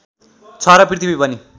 छ र पृथ्वी पनि